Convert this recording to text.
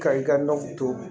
Ka i ka nɔgɔ tobi